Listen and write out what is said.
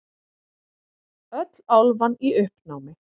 Öll álfan í uppnámi.